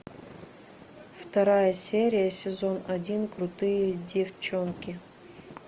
вторая серия сезон один крутые девчонки